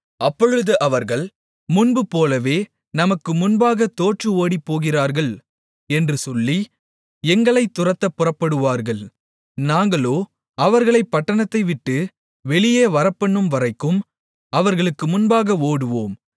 அப்பொழுது அவர்கள் முன்பு போலவே நமக்கு முன்பாக தோற்று ஓடிப்போகிறார்கள் என்று சொல்லி எங்களைத் துரத்தப் புறப்படுவார்கள் நாங்களோ அவர்களைப் பட்டணத்தைவிட்டு வெளியே வரப்பண்ணும்வரைக்கும் அவர்களுக்கு முன்பாக ஓடுவோம்